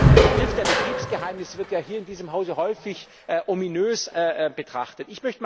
Der Begriff der Betriebsgeheimnisse wird ja hier in diesem Hause häufig ominös betrachtet.